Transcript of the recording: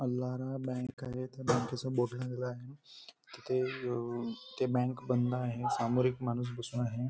आल्हारा bank आहे त्या बँकेचा बोर्ड लागला आहे तिथे ति बँक बंद आहेसामोर एक माणूस बसून आहे.